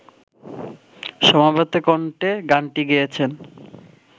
সমবেত কণ্ঠে গানটি গেয়েছেন